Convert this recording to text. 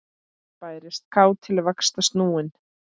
Bærist kát til vaxtar snúin.